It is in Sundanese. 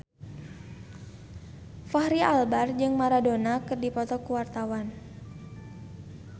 Fachri Albar jeung Maradona keur dipoto ku wartawan